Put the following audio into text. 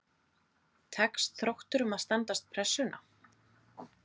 Tekst Þrótturum að standast pressuna??